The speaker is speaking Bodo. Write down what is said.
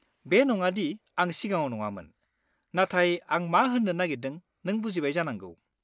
बे नङा दि आं सिगाङाव नङामोन, नाथाय आं मा होन्नो नागेरदों नों बुजिबाय जानांगौ।